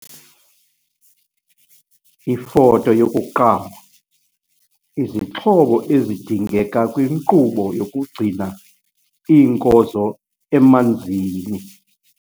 Ifoto 1- Izixhobo ezidingeka kwinkqubo yokugcina iinkozo emanzini.